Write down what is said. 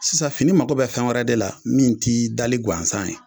Sisan fini mago bɛ fɛn wɛrɛ de la min ti dali gansan ye